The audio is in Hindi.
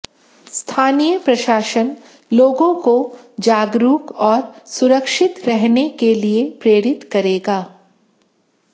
स्थानीय प्रशासन लोगों को जागरूक और सुरक्षित रहने के लिए प्रेरित करेगा